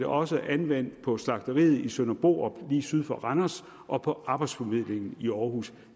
også anvendt på slagteriet i søndre borup lige syd for randers og på arbejdsformidlingen i aarhus